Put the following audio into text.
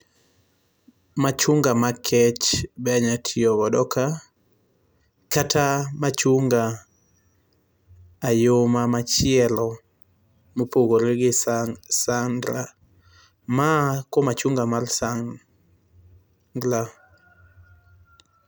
Machunga makech be anyalo tiyo godo ka. Kata machunga ayoma machielo mopodore gi sa sandra. Ma machunga mar sa sangla.